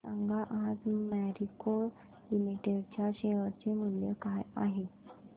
सांगा आज मॅरिको लिमिटेड च्या शेअर चे मूल्य काय आहे